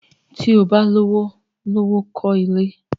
Tí o bá lówó lọ́wọ́, kọ́ ilé!